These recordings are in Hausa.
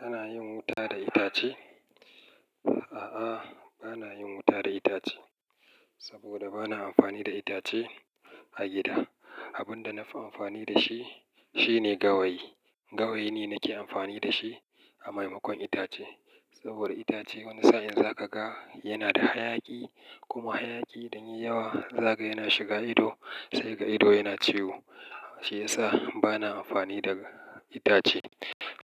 Kana yin wuta da itace? A'a, bana yin wuta da itace saboda bana amfani da itace a gida. Abin da na fi amfani da shi, shine gawayi. Gawayi ne nake amfani da shi a maimakon itace. Saboda itace wani sa'in za ka ga yana da hayaki, kuma hayaki idan yai yawa za ka yana shiga ido, sai kaga ido yana ciwo. Shi ya sa bana amfani da itace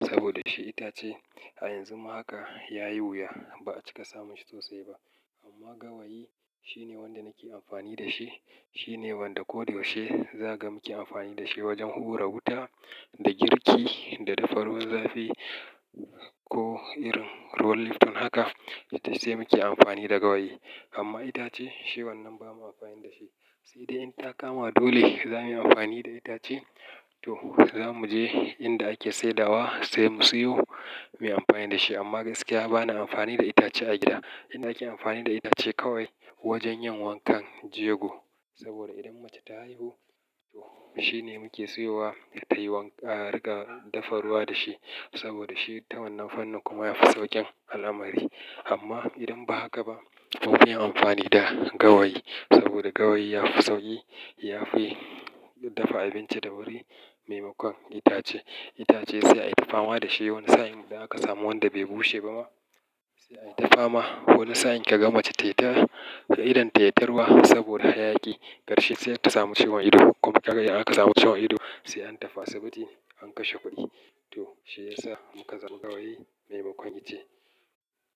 saboda shi itace a yanzu ma haka ya yi wuya ba a cika samu shi sosai ba. Amma gawayi shine wanda nake amfani da shi. Shi ne wanda ko da yaushe za ka ga muke amfani da shi wajen hura wuta, da girki, da dafa ruwan zafi ko irin ruwan lifton haka, sai muke amfani da gawayi. Amma itace shi wannan ba mu amfani da shi. Sai dai in ta kama dole za mu yi amfani da itace, to za mu je inda ake saidawa sai mu siyo, mu yi amfani da shi. Amma gaskiya bana amfani da itace a gida. Inda ake amfani da itace kawai wajen yin wankan jego. Saboda idan mace ta haihu, to shi ne muke siyowa ta yi wanka a riƙa dafa ruwa da shi. Saboda shi ta wannan fannin kuma ya fi sauƙin al'amari. Amma idan ba haka ba, mu mu yi amfani da gawayi saboda gawayi ya fi sauƙi, ya fi dafa abinci da wuri maimakon itace. Itace sai ai ta fama da shi wani sa'in idan aka samu wanda bai bushe ba ma, sai ai ta fama. Wani sa'in ka ga mace ta yi ta, kaga idan ta yi ta yi ta ta ruwa saboda hayaki, karshe sai ta samu ciwon ido. Kuma kaga idan aka samu ciwon ido, sai an tafi asibiti an kashe kuɗi. To shi ya sa muka zama gawayi maimakon itace.